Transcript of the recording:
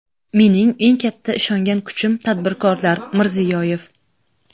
Mening eng katta ishongan kuchim tadbirkorlar — Mirziyoyev.